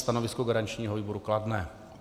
Stanovisko garančního výboru kladné.